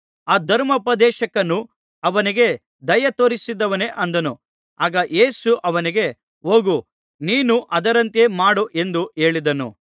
ಆ ಧರ್ಮೋಪದೇಶಕನು ಅವನಿಗೆ ದಯೆ ತೋರಿಸಿದವನೇ ಅಂದನು ಆಗ ಯೇಸು ಅವನಿಗೆ ಹೋಗು ನೀನೂ ಅದರಂತೆ ಮಾಡು ಎಂದು ಹೇಳಿದನು